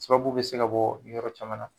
Sababu bɛ se ka bɔ yɔrɔ caman na.